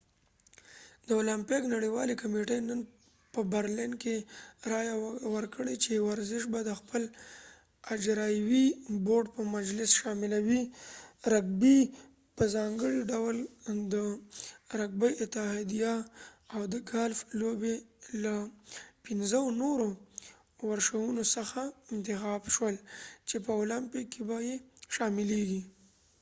د اولمپیک نړیوالې کمیټې نن په برلین کې رایه ورکړه چې ورزش به د خپل اجراییوي بورډ په مجلس شاملوي رګبي په ځانګړي ډول د رګبي اتحادیه او د ګالف لوبې له پنځو نورو ورشونو څخه انتخاب شول چې په اولمپیک کې به یې شاملېږي